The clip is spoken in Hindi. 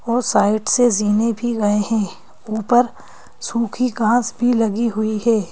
और साइड से जीने भी गए हैं ऊपर सूखी घास भी लगी हुई है।